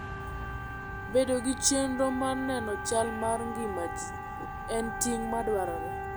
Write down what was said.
Bedo gi chenro mar nono chal mar ngima ji en ting ' madwarore.